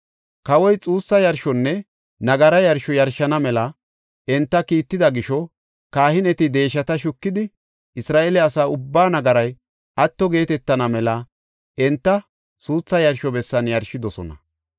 Kawoy xuussa yarshonne nagara yarsho yarshana mela enta kiitida gisho kahineti deeshata shukidi Isra7eele asa ubbaa nagaray atto geetetana mela enta suuthaa yarsho bessan yarshidosona.